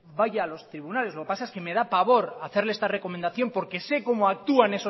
vaya a los tribunales lo que pasa es que me da pavor hacerle esta recomendación porque sé cómo actúan